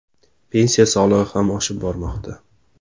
Pensiya solig‘i ham oshib bormoqda.